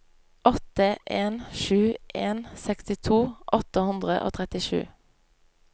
åtte en sju en sekstito åtte hundre og trettisju